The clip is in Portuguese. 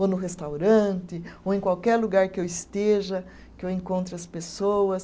ou no restaurante, ou em qualquer lugar que eu esteja, que eu encontre as pessoas.